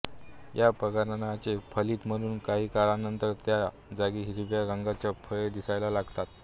या परागणाचे फलित म्हणून काही काळानंतर त्या जागी हिरव्या रंगाची फळे दिसायला लागतात